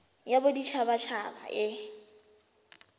ya bodit habat haba e